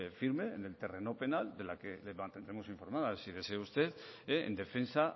firme en el terreno penal del que le mantendremos informada si desea usted en defensa